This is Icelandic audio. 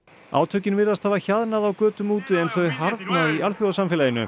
átökin virðast hafa hjaðnað á götum úti en þau harðna í alþjóðasamfélaginu